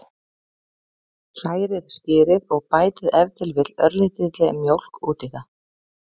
Hrærið skyrið og bætið ef til vill örlítilli mjólk út í það.